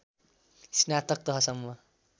स्नातक तहसम्म